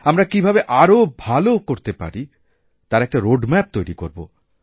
আমরা কীভাবে আরও ভাল করতে পারি তার এক রোডম্যাপ তৈরি করব